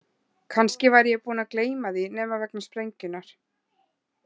Kannski væri ég búinn að gleyma því nema vegna sprengjunnar.